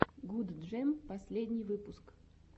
гудджем последний выпуск